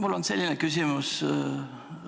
Austatud esineja!